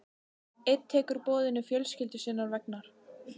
Einn tekur boðinu fjölskyldu sinnar vegna.